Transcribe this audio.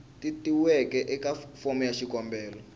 tatiweke eka fomo ya xikombelo